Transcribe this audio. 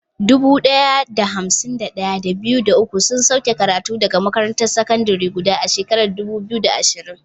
Dubu ɗaya da hamsin da ɗaya, da biyu, da uku sun sauke karatu daga makarantar sakandare guda a shekarar 2020.